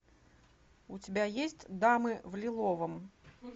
у тебя есть дамы в лиловом